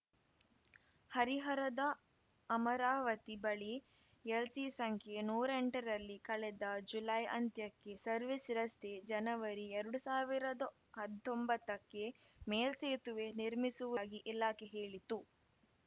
ಹರಿಹರದ ಅಮರಾವತಿ ಬಳಿ ಎಲ್‌ಸಿ ಸಂಖ್ಯೆ ನೂರೆಂಟರಲ್ಲಿ ಕಳೆದ ಜುಲೈ ಅಂತ್ಯಕ್ಕೆ ಸರ್ವಿಸ್ ರಸ್ತೆ ಜನವರಿ ಎರಡು ಸಾವಿರದ ಹತ್ತೊಂಬತ್ತಕ್ಕೆ ಮೇಲ್ಸೇತುವೆ ನಿರ್ಮಿಸುವುದಾಗಿ ಇಲಾಖೆ ಹೇಳಿತ್ತು